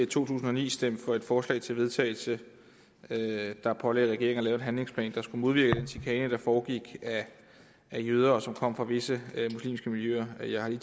tusind og ni stemte for et forslag til vedtagelse der pålagde regeringen at lave en handlingsplan der skulle modvirke den chikane der foregik af jøder og som kom fra visse muslimske miljøer jeg havde